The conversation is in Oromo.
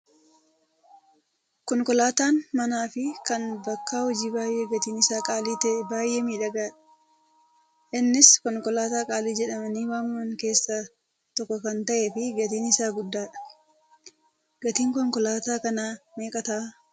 Konkolaataan manaa fi kan bakka hojii baay'ee gatiin isaa qaalii ta'e baay'ee miidhagaadha. Innis konkolaataa qaalii jedhamanii waamaman keessaa tokko kan ta'ee fi gatiin isaas guddaadha. Gatiin konkolaataa kanaa meeqa ta'aa?